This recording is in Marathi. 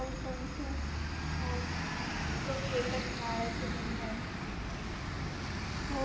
दोगे एकच मळ्याच्य मनी आहेत